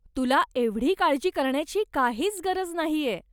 तुला एवढी काळजी करण्याची काहीच गरज नाहीये!